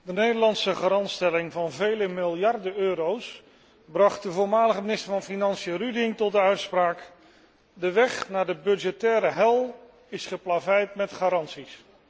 De Nederlandse garantstelling van vele miljarden euro's bracht voormalig minister van Financiën Ruding tot de uitspraak De weg naar de budgettaire hel is geplaveid met garanties.